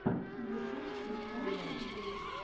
ютуб включай интервью